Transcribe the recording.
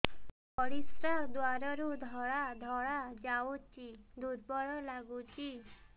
ପରିଶ୍ରା ଦ୍ୱାର ରୁ ଧଳା ଧଳା ଯାଉଚି ଦୁର୍ବଳ ଲାଗୁଚି